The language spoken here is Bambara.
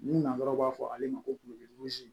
Ni nazaraw b'a fɔ ale ma ko